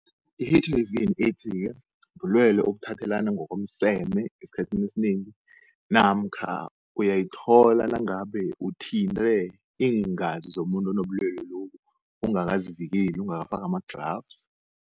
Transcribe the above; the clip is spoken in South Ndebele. I-H_I_V and AIDS-ke bulwelwe obuthathelana ngokomseme esikhathini esinengi. Namkha uyayithola nangabe uthinte iingazi zomuntu onobulwelwe lobu ungakazivikeli ungakafaki ama-gloves.